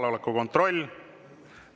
Kohaloleku kontroll.